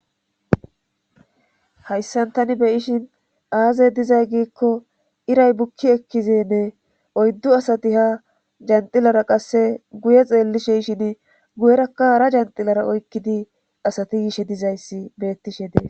Hasan tani azi xelashe diza gikko era buki ekizani oydu asati janxila oyqidi guye xelishni hara asati janxilara hayishe dees.